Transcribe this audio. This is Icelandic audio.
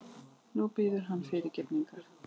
Nú biðurðu hann fyrirgefningar.